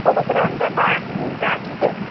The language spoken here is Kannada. ಸಡಗರ ಅಂದ್ರ ಬಾಳ್ರೀ ಯುಗಾದಿದು.